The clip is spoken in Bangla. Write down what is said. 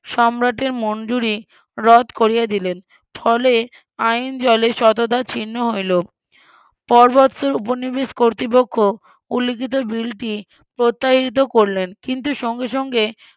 সম্রাটের মঞ্জুরি রদ করিয়া দিলেন ফলে আইন জলে সততা ছিন্ন হইল উপনিবেশ কর্তৃপক্ষ উল্লিখিত বিলটি প্রত্যায়িত করলেন কিন্তু সঙ্গে সঙ্গে